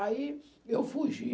Aí eu fugi.